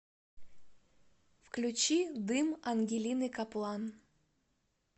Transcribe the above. включи дым ангелины каплан